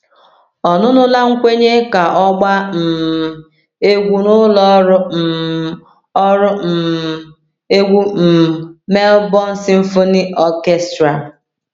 Ọnụnọla nkwenye ka ọ gbaa um egwu n’ụlọ ọrụ um ọrụ um egwu um Melbourne Symphony Orchestra.